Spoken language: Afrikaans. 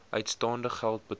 uitstaande geld betaal